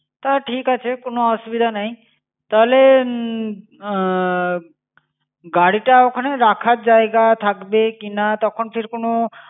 তা ঠিক আছে, কোনো অসুবিধা নেই। তাহলে উম আহ গাড়িটা ওখানে রাখার জায়গা থাকবে কিনা, তখন ফির কোনো